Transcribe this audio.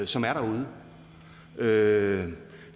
som er derude